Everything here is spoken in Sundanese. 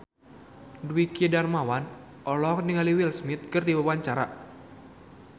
Dwiki Darmawan olohok ningali Will Smith keur diwawancara